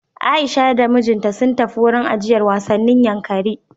Aisha da mijinta sun tafi wurin ajiyar wasannin Yankari.